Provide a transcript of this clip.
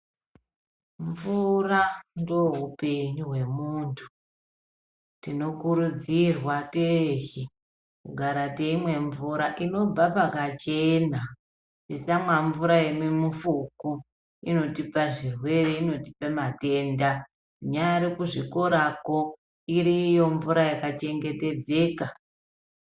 Mvura ndohupenyu hwemuntu tinokurudzirwa teshe kugara teimwe mvura inobva pakachena tisamwa mvura yemuifuku inotipa zvirwere inotipe matenda kunyari kuzvikorako iriyo mvura yakachengetedzeka.